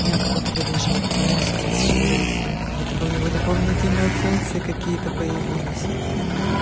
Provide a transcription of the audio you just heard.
у меня как-будто бы даже мозг расширился как будто бы у него дополнительные функции какие-то появились